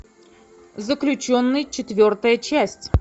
заключенный четвертая часть